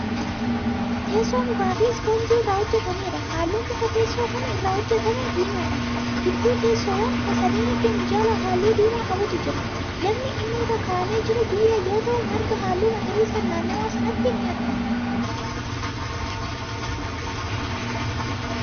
Teessoo mukaafi ispoonjii irraa hojjatamedha. halluun mukaa teessoo Kun irraa hojjatamee diimaadha. gudduu teessoowwan sadeeniitti minjaala halluu diimaa qabutu jira. lafni inni irra kaa'amee jiru biyyee yoo ta'u margi halluu magariisaan naannawa sanatti ni argama.